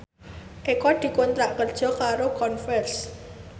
Eko dikontrak kerja karo Converse